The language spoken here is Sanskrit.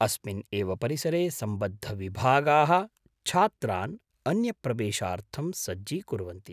अस्मिन् एव परिसरे सम्बद्धविभागाः छात्रान् अन्यप्रवेशार्थं सज्जीकुर्वन्ति।